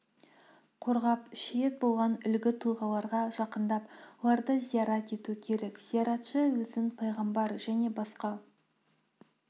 қорғап шейіт болған үлгі тұлғаларға жақындап оларды зиярат ету керек зияратшы өзін пайғамбар және басқа